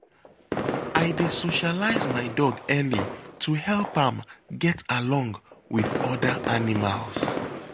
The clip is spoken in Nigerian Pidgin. I dey socialize my dog early to help am get along with other animals.